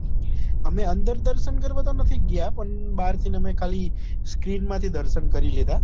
અમે અંદર દર્શન કરવા તો નથી ગયા પણ બારથી અમે ખાલી screen માંથી દર્શન કરી લીધા